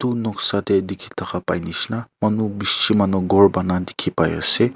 noksa te dekhi thaka pai jisni manu bisi manu gour dekhi pai ase.